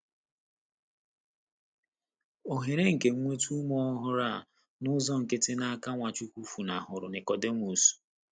Ohere nke inweta ume ọhụrụ a n’ụzọ nkịtị n’aka Nwachukwu funahụrụ Nikọdimọs!